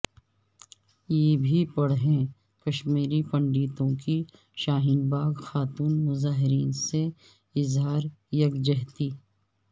یہ بھی پڑھیں کشمیری پنڈتوں کی شاہین باغ خاتون مظاہرین سے اظہار یکجہتی